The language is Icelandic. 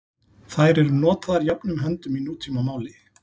Þær eru notaðar jöfnum höndum í nútímamáli.